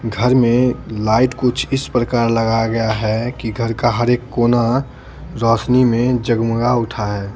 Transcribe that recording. घर में लाइट कुछ इस प्रकार लगाया गया है कि घर का हर एक कोना रोशनी में जगमगा उठा है।